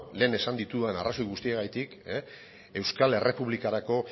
lehen esan ditudan arrazoi guztiengatik euskal errepublikarako